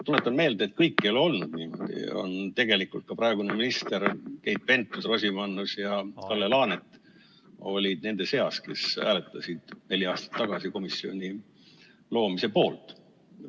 Tuletan meelde, et kõik ei ole olnud niimoodi, tegelikult ka praegused ministrid Keit Pentus-Rosimannus ja Kalle Laanet olid nende seas, kes hääletasid neli aastat tagasi komisjoni loomise poolt.